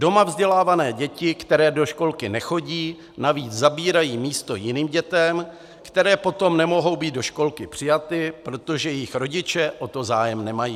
Doma vzdělávané děti, které do školky nechodí, navíc zabírají místo jiným dětem, které potom nemohou být do školky přijaty, přestože jejich rodiče o to zájem mají.